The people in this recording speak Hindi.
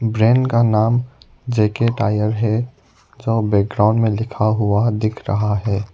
ब्रैंड का नाम जे_के टायर है जो बैकग्राउंड में लिखा हुआ दिख रहा है।